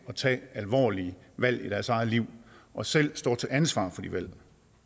at tage alvorlige valg i deres eget liv og selv står til ansvar for de valg